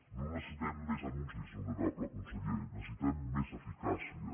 no necessitem més anuncis honorable conseller necessitem més eficàcia